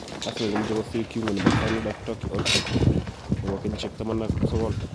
Arsenal komoche kosir Kiungo nebo Fayenoord ak Turkey Orkun Kokcu, nebo kenyisiek 19.